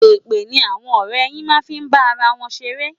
Èpè ni àwọn ọ̀rẹ́ yìí máa ń fi ń bá ara wọn ṣeré.